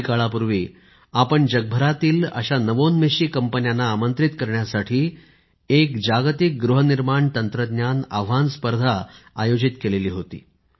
काही काळापूर्वी आपण जगभरातील अशा नवोन्मेषी कंपन्यांना आमंत्रित करण्यासाठी एक जागतिक गृहनिर्माण तंत्रज्ञान आव्हान स्पर्धा आयोजित केली होती